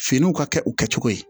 Finiw ka kɛ u kɛcogo ye